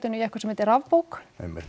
í eitthvað sem heitir rafbók